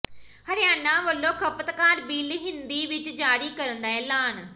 ਹਰਿਆਣਾ ਵੱਲੋਂ ਖ਼ਪਤਕਾਰ ਬਿੱਲ ਹਿੰਦੀ ਵਿੱਚ ਜਾਰੀ ਕਰਨ ਦਾ ਐਲਾਨ